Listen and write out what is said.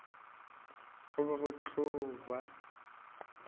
go be go tlo ba